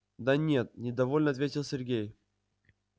да нет недовольно ответил сергей